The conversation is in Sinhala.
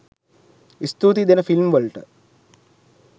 ස්තුතියි දෙන ෆිල්ම් වලට